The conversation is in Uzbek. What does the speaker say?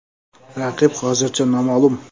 Raqib hozircha noma’lum.